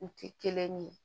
U tɛ kelen ye